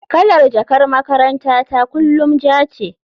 Kalar jakar makarantata kullum ja ce.